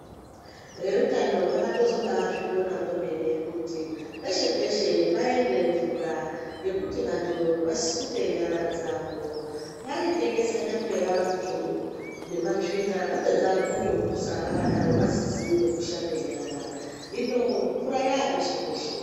Vehutano vakatozobaazvikona kwemene kuti peshe - peshe paende mvura pekuti vantu vasuke nyara dzavo. Vaitekesana peya vantu nematsvina vopedza votopusa vasizi ngekushambe nyara hino mvura yapeshe -peshe.